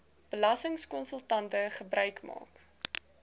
belastingkonsultante gebruik maak